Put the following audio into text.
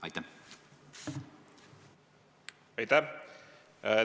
Aitäh!